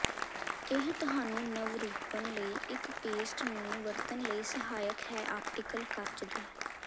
ਇਹ ਤੁਹਾਨੂੰ ਨਵਰੂਪਨ ਲਈ ਇੱਕ ਪੇਸਟ ਨੂੰ ਵਰਤਣ ਲਈ ਸਹਾਇਕ ਹੈ ਆਪਟੀਕਲ ਕੱਚ ਦੇ